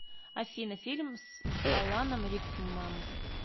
афина фильм с аланом рикмам